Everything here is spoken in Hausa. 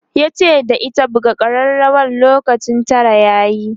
yace da ita"buga karrawar lokacin Tara yayi!'